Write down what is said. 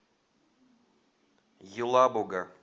елабуга